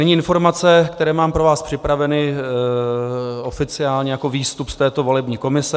Nyní informace, které mám pro vás připravené oficiálně jako výstup z této volební komise.